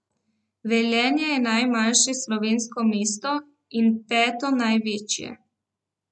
Velenje je najmlajše slovensko mesto in peto največje.